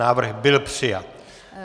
Návrh byl přijat.